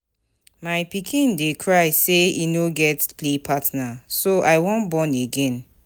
My pikin dey cry say he no get play partner so I wan born again.